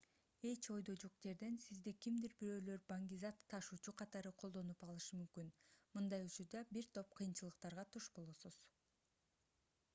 эч ойдо жок жерден сизди кимдир-бирөөлөр баңгизат ташуучу катары колдонуп алышы мүмкүн мындай учурда бир топ кыйынчылыктарга туш болосуз